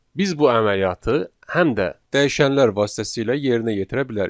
Biz bu əməliyyatı həm də dəyişənlər vasitəsilə yerinə yetirə bilərik.